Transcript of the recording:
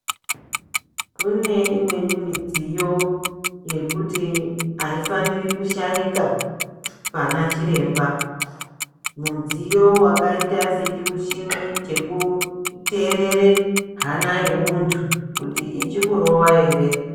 Kune imweni midziyo yekuti haifaniri kushaika pana chiremba. Mudziyo wakaita sechimuchini chekuterere hana yemuntu kuti ichikurowa ere.